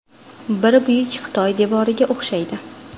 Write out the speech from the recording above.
Biri Buyuk Xitoy devoriga o‘xshaydi.